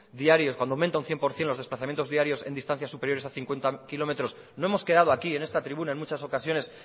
diarios aumenta un cien por ciento los desplazamientos diarios en distancias superiores a cincuenta kilómetros no hemos quedado aquí en esta tribuna en muchas ocasiones